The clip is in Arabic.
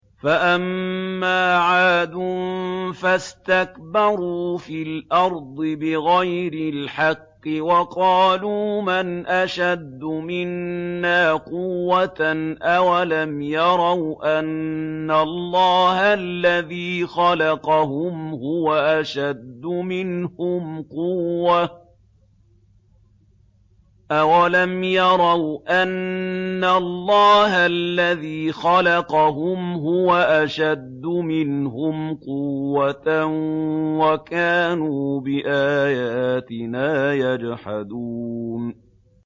فَأَمَّا عَادٌ فَاسْتَكْبَرُوا فِي الْأَرْضِ بِغَيْرِ الْحَقِّ وَقَالُوا مَنْ أَشَدُّ مِنَّا قُوَّةً ۖ أَوَلَمْ يَرَوْا أَنَّ اللَّهَ الَّذِي خَلَقَهُمْ هُوَ أَشَدُّ مِنْهُمْ قُوَّةً ۖ وَكَانُوا بِآيَاتِنَا يَجْحَدُونَ